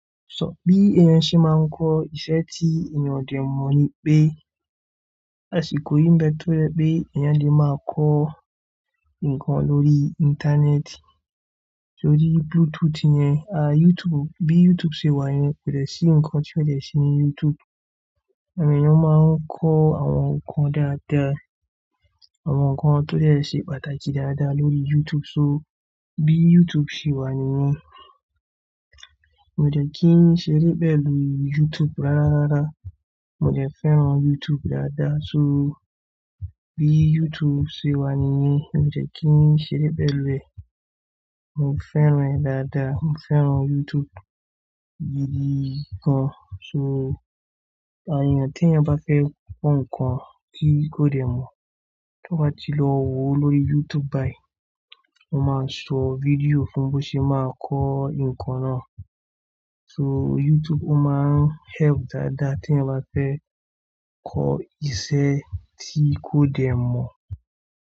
Sọ bí èèyàn ṣe máa ń kọ́ iṣẹ́ tí èèyàn ò dè mọ̀ ni pé àsìkò yìí ń bẹ tó ye pé èèyàn lè máa kọ́ nǹkan lórí Íńtánẹ́ẹ̀tì. Só ríi Bluetooth yẹn, YouTube, bí YouTube ṣe wà yẹn kò dè ṣí nǹkan tí ó jẹ̀ ṣí ní YouTube. Àwọn èèyàn máa ń kọ́ àwọn nǹkan dáadáa, àwọn nǹkan tó jè ṣe pàtàkì dáadáa lórí YouTube. So bí YouTube ṣe wà nìyẹn, mò dẹ̀ kí ń ṣeré bẹ́ẹ̀ lórí YouTube rárárára. Mo jẹ̀ fẹ́ràn YouTube dáadáa. So bí YouTube ṣe wà nìyẹn mi ò jẹ̀ kí ń ṣeré bẹ́ẹ̀ lórí ẹ̀. Mo fẹ́ràn ẹ́ dáadáa. Mo fẹ́ràn YouTube gidi gan. So àyàn tí ẹ̀yàn bá fẹ́ kọ́ nǹkan tí kò dè mọ̀, tó bá ti lọ wo lórí YouTube báyìí, wọ́n máa ń sọ fídíò fún bó ṣe máa kọ́ nǹkan náà. So YouTube ó máa ń help dáadáa tí ẹ̀yàn bá fẹ́ kọ́ iṣẹ́ tí kò dè mọ̀.